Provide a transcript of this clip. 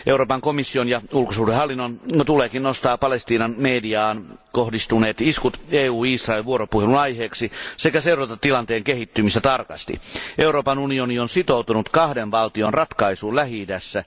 Euroopan komission ja ulkosuhdehallinnon tuleekin nostaa Palestiinan mediaan kohdistuneet iskut EU Israel vuoropuhelun aiheeksi, sekä seurata tilanteen kehittymistä tarkasti. Euroopan unioni on sitoutunut kahden valtion ratkaisuun Lähi idässä.